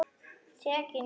Tekin í arf.